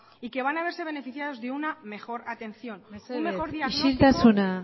y que van a verse beneficiados de una mejor atención mesedez isiltasuna